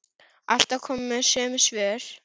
Alltaf komu sömu svör.